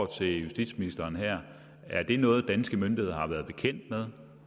til justitsministeren er er det noget danske myndigheder har været bekendt med